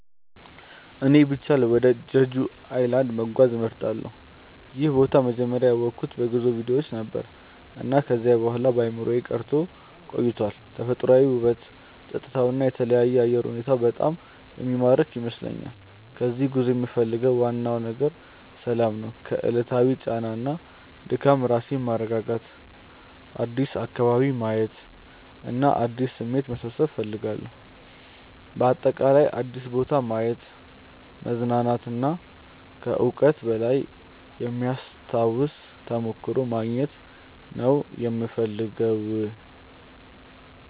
እኔ ቢቻል ወደ ጀጁ ኣይላንድ(Jeju Island) መጓዝ እመርጣለሁ። ይህን ቦታ መጀመሪያ ያወቅሁት በጉዞ ቪዲዮዎች ነበር፣ እና ከዚያ በኋላ በአእምሮዬ ቀርቶ ቆይቷል። ተፈጥሯዊ ውበቱ፣ ጸጥታው እና የተለየ አየር ሁኔታው በጣም የሚማርክ ይመስለኛል። ከዚህ ጉዞ የምፈልገው ዋናው ነገር ሰላም ነው። ከዕለታዊ ጫና እና ድካም ራሴን ማስረጋጋት፣ አዲስ አካባቢ ማየት እና አዲስ ስሜት መሰብሰብ እፈልጋለሁ። በአጠቃላይ አዲስ ቦታ ማየት፣ መዝናናት እና ከዕውቀት በላይ የሚያስታውስ ተሞክሮ ማግኘት ነው የምፈልገው።